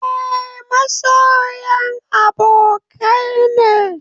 Eh, masoyan abokai ne